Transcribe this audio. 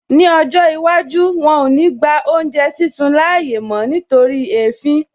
Ní ọjọ́ iwájú, wọn ò ní gba oúnjẹ sísun láàyè mó nítorí èéfín